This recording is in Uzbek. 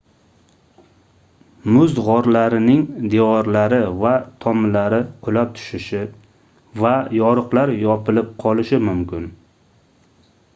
muz gʻorlarining devorlari va tomlari qulab tushishi va yoriqlar yopilib qolishi mumkin